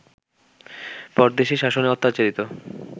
পরদেশির শাসনে অত্যাচারিত